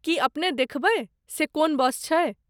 की अपने देखबै, से कोन बस छै?